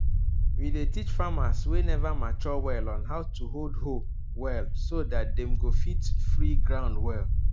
we dey teach farmers wey never mature well on how to hold hoe well so dat dem go fit free ground well